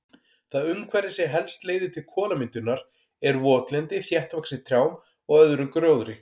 Það umhverfi sem helst leiðir til kolamyndunar er votlendi þéttvaxið trjám og öðrum gróðri.